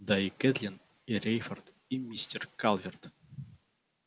да и кэтлин и рейфорд и мистер калверт